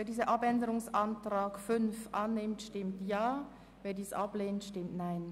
Wer diesen Abänderungsantrag 5 annehmen will, stimmt Ja, wer diesen ablehnt, stimmt Nein.